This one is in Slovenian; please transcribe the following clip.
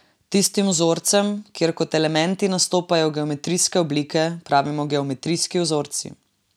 Tistim vzorcem, kjer kot elementi nastopajo geometrijske oblike, pravimo geometrijski vzorci.